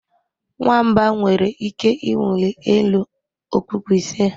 Nwamba nwere ike ịwụli elu okpukpu ise